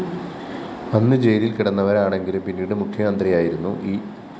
അന്ന് ജയിലില്‍ കിടന്നവരാണെങ്കിലും പിന്നീട് മുഖ്യമന്ത്രിയായിരുന്ന ഇ